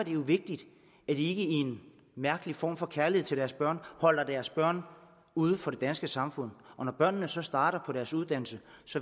jo vigtigt at de ikke i en mærkelig form for kærlighed til deres børn holder deres børn uden for det danske samfund og når børnene så starter på deres uddannelse